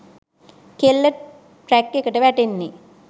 කෙල්ල ට්‍රැක්එකට වැටෙන්නෙ.